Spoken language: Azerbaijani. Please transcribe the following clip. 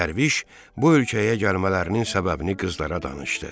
Dərviş bu ölkəyə gəlmələrinin səbəbini qızlara danışdı.